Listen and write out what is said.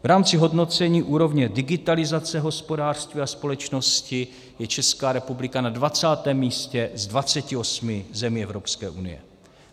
V rámci hodnocení úrovně digitalizace hospodářství a společnosti je Česká republika na 20 místě z 28 zemí Evropské unie.